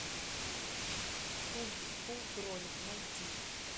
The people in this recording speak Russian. кунг фу кролик найти